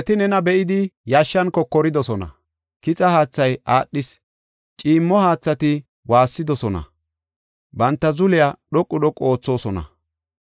Dereti nena be7idi yashshan kokoridosona; kixa haathay aadhis. Ciimmo haathati waassidosona; banta zuliya dhoqu dhoqu oothosona.